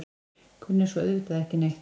Kunni svo auðvitað ekki neitt.